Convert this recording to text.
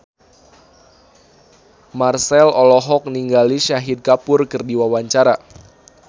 Marchell olohok ningali Shahid Kapoor keur diwawancara